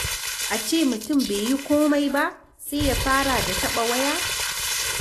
A ce mutum bai yi komai ba sai ya fara da taɓa waya.